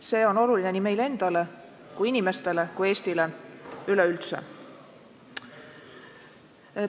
See on oluline nii meile endale kui inimestele kui Eestile üleüldse.